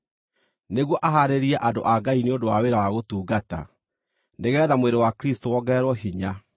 nĩguo ahaarĩrie andũ a Ngai nĩ ũndũ wa wĩra wa gũtungata, nĩgeetha mwĩrĩ wa Kristũ wongererwo hinya,